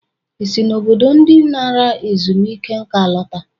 Ị si na obodo ndị nara ezumike nka alọta?